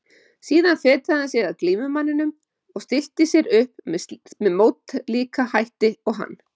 Síðan fetaði hann sig að glímumanninum og stillti sér upp með mótlíka hætti og hann.